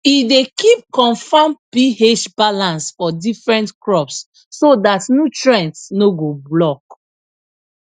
e dey keep confam ph balance for different crops so dat nutrients no go block